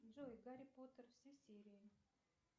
джой гарри поттер все серии